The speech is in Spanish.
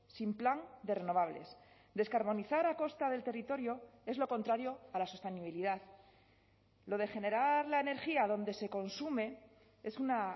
sin plan de renovables descarbonizar a costa del territorio es lo contrario a la sostenibilidad lo de generar la energía donde se consume es una